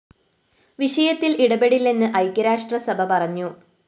വിഷയത്തില്‍ ഇടപെടില്ലെന്ന് ഐക്യരാഷ്ട്ര സഭ പറഞ്ഞു